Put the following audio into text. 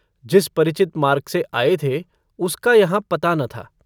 जिस परिचित मार्ग से आए थे उसका यहाँ पता न था।